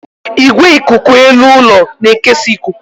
Igwe ikuku elu ụlọ na-ekesa ikuku.